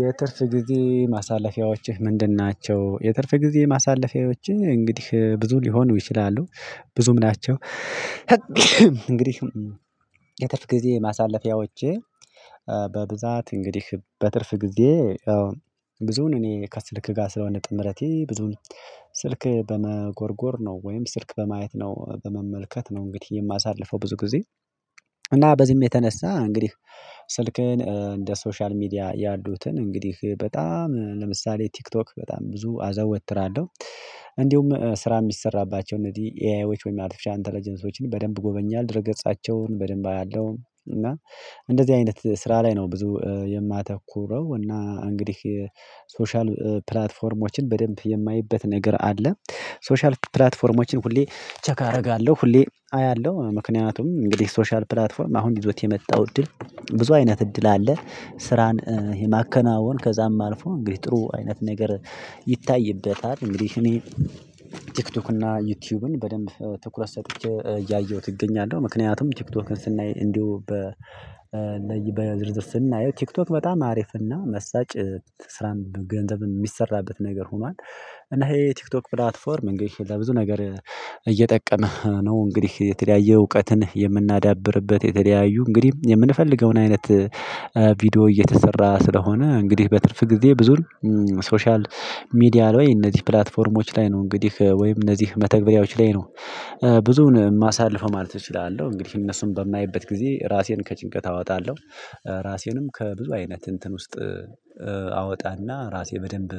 ናቸው? ፍ ጊዜ ማሳለፊያዎችህ ምንድን ናቸው የትርፍ ጊዜ ማሳለፊያዎቼ እንግዲህ ብዙ ሊሆን ይችላሉ። ብዙም ናቸው እንግዲህ የትርፍ ጊዜ ማሳለፊያዎቼ በብዛት እንግዲህ በትርፍ ጊዜ ብዙውን እኔ ከስልክ ጋር ስለሆነ ጥምረቴ ብዙውን ስልክ በመጎርጎር ነው ወይም ስልክ በማየት ነው፤ በመመልከት ነው እንግዲህ የማሳልፈው ብዙ ጊዜ እና በዚህም የተነሳ እንግዲህ ስልክህን እንደ ሶሻል ሚዲያ ያሉትን እንግዲህ በጣም ለምሳሌ ቲክቶክ በጣም ብዙ አዘወትራለሁ። እንዲሁም ስራ ሚሰራባቸው እነዚህ ኤአይዎች ወይም አርቴፊሻል ኢንተለጀንሶችን በደንብ እጎበኛለው። ድረ ገጻቸውን በደንብ አያለው እና እንደዚህ አይነት ስራ ላይ ነው ብዙ የማተኩረው እና እንግዲህ ሶሻል ፕላትፎርሞችን በደንብ የማይበት ነገር አለ። ሶሻል ፕላትፎርሞችን ሁሌ ቼክ አረጋለሁ። ሁሌ አያለሁ ምክንያቱም እንግዲህ ሶሻል ፕላትፎርም አሁን ይዞት የመጣው እድል ብዙ አይነት እድል አለ። ስራን የማከናወን ከዛም አልፎ እንግዲህ ጥሩ አይነት ነገር ይታይበታል። እንግዲህ እኔ ቲክቶክ እና ዩቲዩብን በደንብ ትኩረት ሰጥቼ እያየሁት እገኛለሁ። ምክንያቱም ቲክቶክን ስናይ እንዲሁ በ በዝርዝር ስናየው ቲክቶክ በጣም አሪፍና መሳጭ ስራን ገንዘብ የሚሰራበት ነገር ሆኗል እና ይሄ ቲክቶክ ፕላትፎርም እንግዲህ ለብዙ ነገር እየጠቀመ ነው። እንግዲህ የተለያየ እውቀትን የምናዳብርበት የተለያዩ እንግዲህ የምንፈልገውን አይነት ቪዲዮ እየተሰራ ስለሆነ እንግዲህ በትርፍ ጊዜ ብዙም ሶሻል ሚዲያ ላይ እነዚህ ፕላትፎርሞች ላይ ነው እንግዲህ ወይም እነዚህ መተግበሪያዎች ላይ ነው ብዙውን ማሳልፈው ማለት እችላለሁ። እንግዲህ እነሱን በማየበት ጊዜ ራሴን ከጭንቀት አወጣለሁ። ራሴንም ከብዙ አይነት እንትን ውስጥ አወጣና ራሴ በደንብ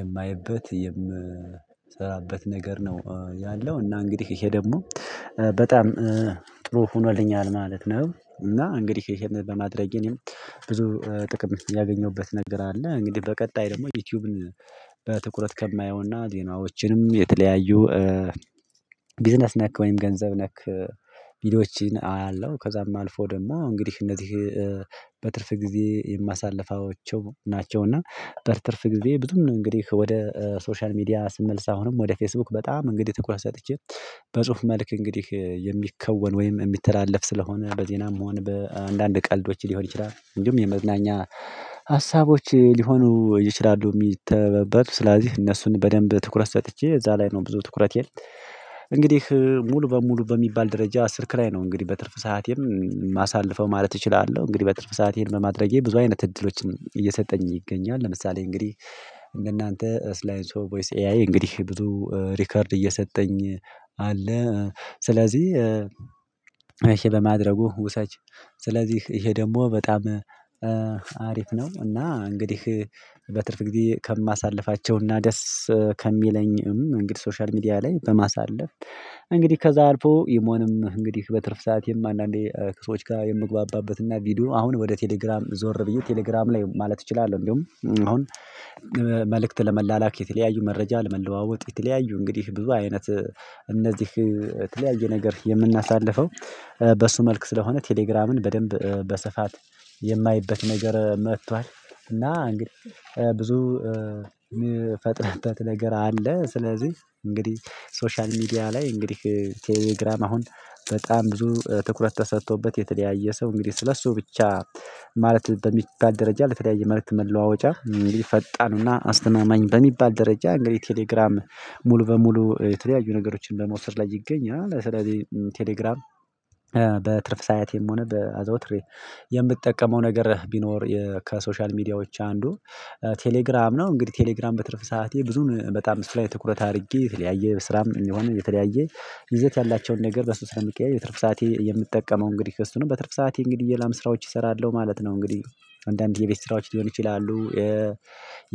የማይበት የምሰራበት ነገር ነው ያለው እና እንግዲህ ይሄ ደግሞ በጣም ጥሩ ሆኖልኛል ማለት ነው። እና እንግዲህ ይሄን በማድረጌ እኔም ብዙ ጥቅም ያገኘሁበት ነገር አለ እንግዲህ በቀጣይ ደግሞ ዩቲዩብን በትኩረት ከማየውና ዜናዎችንም የተለያዩ ቢዝነስ ነክ ወይም ገንዘብ ነክ ቪዲዮዎች አያለሁ ከዛም አልፎ ደግሞ እንግዲህ እነዚህ በትርፍ ጊዜ የማሳልፋቸው ናቸው እና በትርፍ ጊዜ ብዙም ነው እንግዲህ ወደ ሶሻል ሚዲያ ስመልስ አሁንም ወደ ፌስቡክ በጣም ትኩረት ሰጥቼ በጽሁፍ መልክ እንግዲህ የሚከወን ወይም የሚተላለፍ ስለሆነ በዜናም መሆን በአንዳንድ ቀልዶች ሊሆን ይችላል እንዲሁም የመዝናኛ ሀሳቦች ሊሆኑ ይችላሉ የሚተበበት ስለዚህ እነሱን በደንብ ትኩረት ሰጥቼ እዛ ላይ ነው ብዙ ትኩረቴ እንግዲህ ሙሉ በሙሉ በሚባል ደረጃ ስልክ ላይ ነው እንግዲህ በትርፍ ሰዓቴም ማሳለፈው ማለት እችላለሁ እንግዲህ በትርፍ ሰአቴን ይህን በማድረጌ ብዙ አይነት እድሎችን እየሰጠኝ ይገኛል ለምሳሌ እንግዲህ እንደናንተ ስላይንስሶ ቮይስ ኤአይ እንግዲህ ብዙ ሪከርድ እየሰጠኝ አለ። ስለዚህ ይሄ በማድረጉ ውሰጅ ስለዚህ ይሄ ደግሞ በጣም አሪፍ ነው እና እንግዲህ በትርፍ ጊዜ ከማሳልፋቸውና ደስ ከሚለኝም እንግዲህ ሶሻል ሚዲያ ላይ በማሳለፍ እንግዲህ ከዛ አልፎ ኢሞንም እንግዲህ በትርፍ ሰዓትቴም አንዳንዴ ከሰዎች ጋር የምግባባበት እና ቪዲዮ አሁን ወደ ቴሌግራም ዞር ብዬ ቴሌግራም ላይ ማለት እችላለሁ እንደውም አሁን መልእክት ለመላላክ የተለያዩ መረጃ ለመለዋወጥ የተለያዩ እንግዲህ ብዙ አይነት እነዚህ የተለያየ ነገር የምናሳልፈው በሱ መልክ ስለሆነ ቴሌግራምን በደንብ በስፋት የማይበት ነገር መጥቷል እና እንግዲህ ብዙ የምፈጥርበት ነገር አለ። ስለዚህ እንግዲህ ሶሻል ሚዲያ ላይ እንግዲህ ቴሌግራም አሁን በጣም ብዙ ትኩረት ተሰጥቶበት የተለያየ ሰው እንግዲህ ስለሱ ብቻ ማለት በሚባል ደረጃ ለተለያየ መልእክት መለዋወጫ ፈጣን እና አስተማማኝ በሚባል ደረጃ እንግዲህ ቴሌግራም ሙሉ በሙሉ የተለያዩ ነገሮችን በመውሰድ ላይ ይገኛል። ስለዚህ ቴሌግራም በትርፍ ሰዓቴም ሆነ በ አዘውትሬ የምትጠቀመው ነገር ቢኖር ከሶሻል ሚዲያዎች አንዱ ቴሌግራም ነው እንግዲህ ቴሌግራም በትርፍ ሰዓቴ ብዙን በጣም እሱ ላይ ትኩረት አድርጌ የተለያየ ስራም የሚሆነው የተለያየ ይዘት ያላቸውን ነገር በሱ ስለሚገኝ የትርፍ ሰዓቴ የምጠቀመው እንግዲህ እሱ ነው በትርፍ ሰዓቴ እንግዲህ ሌላም ስራዎች እሰራለሁ ማለት ነው። እንግዲህ አንዳንዴ የቤት ስራዎች ሊሆን ይችላሉ የ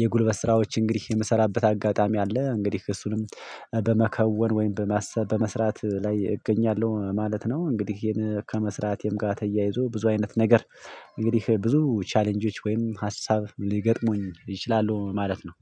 የጉልበት ስራዎች እንግዲህ የምሰራበት አጋጣሚ አለ። እንግዲህ እሱንም በመከወን ወይም በማሰብ በመስራት ላይ እገኛለሁ ማለት ነው። እንግዲህ ይሄን ከመስራቴም ጋር ተያይዞ ብዙ አይነት ነገር እንግዲህ ብዙ ቻሌንጆች ወይም ሀሳብ ሊገጥሙኝ ይችላሉ ማለት ነው።